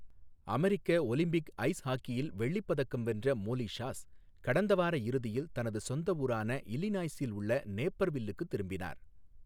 அமெரிக்க Olympic ice ஹாக்கியில் வெள்ளிப் பதக்கம் வென்ற மோலி ஷாஸ் கடந்த வார இறுதியில் தனது சொந்த ஊரான இல்லினாய்ஸில் உள்ள நேப்பர்வில்லுக்குத் திரும்பினார்.